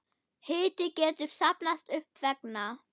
Hiti getur safnast upp vegna